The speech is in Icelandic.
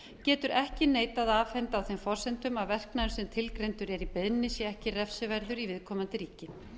getur ekki neitað að afhendingu á þeim forsendum að verknaðurinn sem tilgreindur er í beiðninni sé ekki refsiverður í viðkomandi ríki